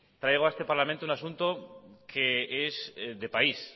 traigo a este parlamento un asunto que es de país